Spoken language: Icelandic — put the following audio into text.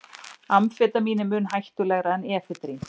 Amfetamín er mun hættulegra en efedrín.